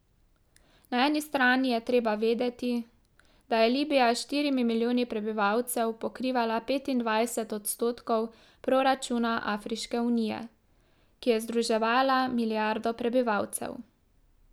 Na eni strani je treba vedeti, da je Libija s štirimi milijoni prebivalcev pokrivala petindvajset odstotkov proračuna Afriške unije, ki je združevala milijardo prebivalcev.